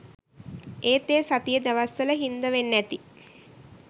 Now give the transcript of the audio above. ඒත් ඒ සතියෙ දවස්වල හින්ද වෙන්නැති